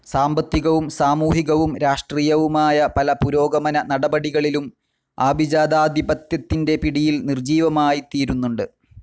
സാമ്പത്തികവും സാമൂഹികവും രാഷ്ട്രീയവുമായ പല പുരോഗമന നടപടികളിലും ആഭിജാതാധിപത്യത്തിൻ്റെ പിടിയിൽ നിർജീവമായിത്തീരുന്നുണ്ട്.